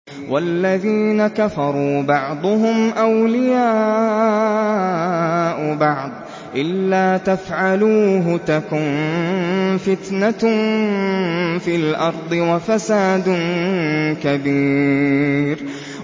وَالَّذِينَ كَفَرُوا بَعْضُهُمْ أَوْلِيَاءُ بَعْضٍ ۚ إِلَّا تَفْعَلُوهُ تَكُن فِتْنَةٌ فِي الْأَرْضِ وَفَسَادٌ كَبِيرٌ